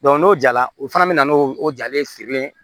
n'o jara o fana bɛ na n'o jalen sirilen ye